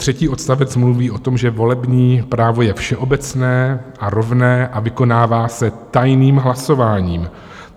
Třetí odstavec mluví o tom, že volební právo je všeobecné a rovné a vykonává se tajným hlasováním.